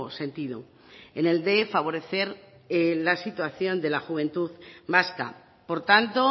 sentido en el de favorecer la situación de la juventud vasca por tanto